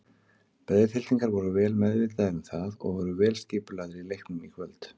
Breiðhyltingar voru vel meðvitaðir um það og voru vel skipulagðir í leiknum í kvöld.